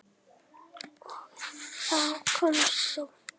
Og þá komst þú.